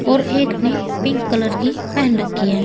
और एक ने पिंक कलर की पहन रखी है।